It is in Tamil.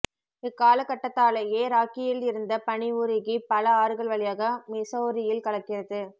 இக்காலகட்டத்தாலயே ராக்கியில் இருந்த பனி உருகி பல ஆறுகள் வழியாக மிசௌரியில் கலக்கிறது